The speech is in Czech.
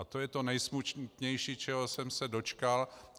A to je to nejsmutnější, čeho jsem se dočkal.